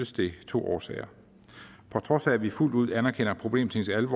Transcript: det to årsager på trods af at vi fuldt ud anerkender problemstillingens